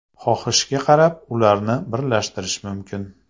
Xohishga qarab, ularni birlashtirish mumkin.